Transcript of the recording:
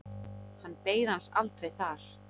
Hann beið hans aldrei þar.